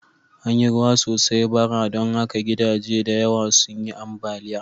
An yi ruwa sosai bara, don haka gidaje da yawa sun yi ambaliya.